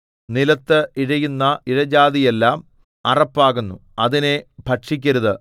നിലത്ത് ഇഴയുന്ന ഇഴജാതിയെല്ലാം അറപ്പാകുന്നു അതിനെ ഭക്ഷിക്കരുത്